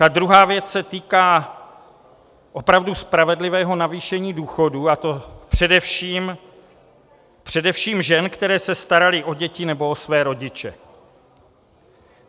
Ta druhá věc se týká opravdu spravedlivého navýšení důchodů, a to především žen, které se staraly o děti nebo o své rodiče.